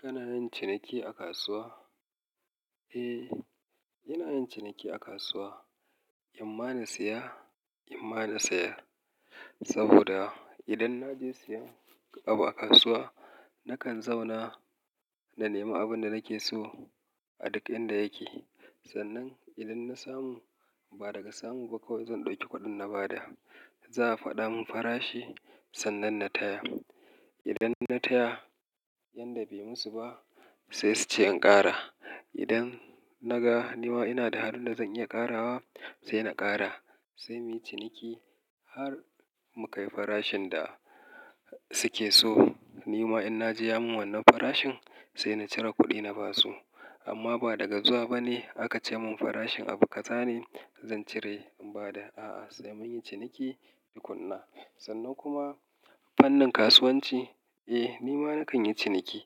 Kana yin ciniki a kasuwa? Eh, ina yin ciniki a kasuwa. In ma na saya, In ma in sayar. Saboda idan na je siyan abu a kasuwa, nakan zauna da nema abin da nake so a duk inda yake. Sannan idan na samu, ba daga samu ba kawai zan ɗauki kuɗin na bada. Za a faɗa mun farashi sannan na taya. Idan na taya yanda bai musu ba sai su ce in ƙara. Idan na ga nima ina da halin da zan iya ƙarawa sai na ƙara. Sai muyi ciniki har mu kai farashin da suke so. Nima in na ji ya mun wannan farashin sai na cire kuɗi na basu. Amma ba daga zuwa bane aka ce mun farashin abu kaza ne zan cire in bada. A'a, sai mun yi ciniki, yi tukunna. Sannan kuma fannin kasuwanci, eh nima nakan yi ciniki.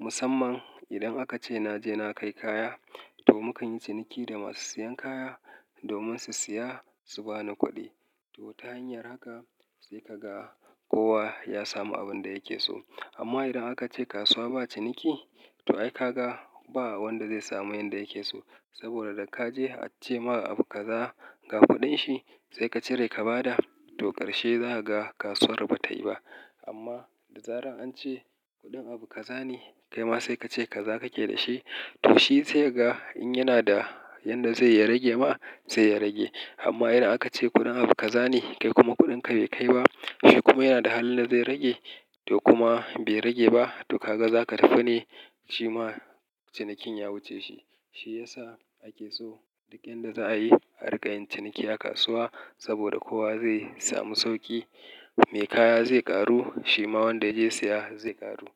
Musamman idan aka ce na je na kai kaya to mu kan yi ciniki da masu siyan kaya domin su siya su bani kuɗi. To ta hanyar haka sai ka ga kowa ya samu abin da yake so. Amma idan aka ce kasuwa ba ciniki, to ai ka ga ba wanda zai samu yanda yake so. Saboda da ka je a ce ma abu kaza ga kuɗin shi sai ka cire ka bada to ƙarshe za ka ga kasuwar bata yi ba. Amma da zarar an ce kuɗin abu kaza ne kai ma sai ka ce kaza kake da shi to shi sai ka ga in yana da yanda zai ya rage ma sai ya rage. Amma idan aka ce kuɗin abu kaza ne kai kuma kuɗinka bai kai ba, shi kuma yana da hali da zai rage sai kuma bai rage ba to ka ga za ka tafi ne shima cinikin ya wuce shi. Shi ya sa ake so duk inda za a yi a riƙa yin ciniki a kasuwa saboda kowa zai samu sauƙi. Me kaya zai ƙaru shima wanda ya je siya zai ƙaru.